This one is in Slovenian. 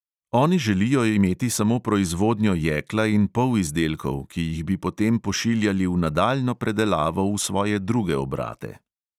Oni želijo imeti samo proizvodnjo jekla in polizdelkov, ki jih bi potem pošiljali v nadaljnjo predelavo v svoje druge obrate.